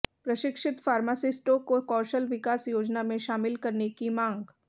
प्रशिक्षित फार्मासिस्टों को कौशल विकास योजना में शामिल करने की मांग